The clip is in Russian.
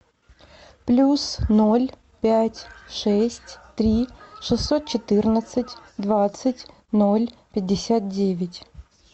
плюс ноль пять шесть три шестьсот четырнадцать двадцать ноль пятьдесят девять